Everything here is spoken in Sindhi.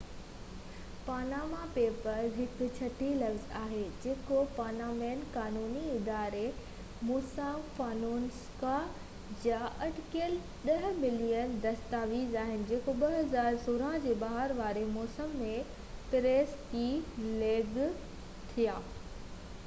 پاناما پيپرز هڪ ڇٽي لفظ آهي جيڪو پانامينين قانوني اداري موساڪ فونيسڪا جا اٽڪل ڏهہ ملين دستاويز آهن جيڪو 2016 جي بهار واري موسم ۾ پريس کي ليڪ ٿيا